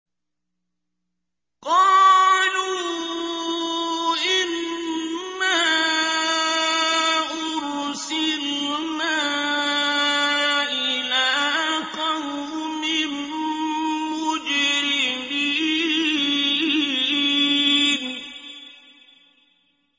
قَالُوا إِنَّا أُرْسِلْنَا إِلَىٰ قَوْمٍ مُّجْرِمِينَ